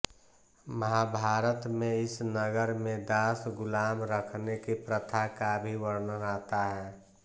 महाभारत में इस नगर में दास गुलाम रखने की प्रथा का भी वर्णन आता है